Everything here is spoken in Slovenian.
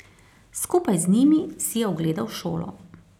Skupaj z njimi si je ogledal šolo.